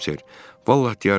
Vallah deyərəm,